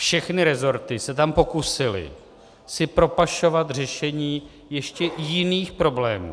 Všechny rezorty se tam pokusily si propašovat řešení ještě jiných problémů.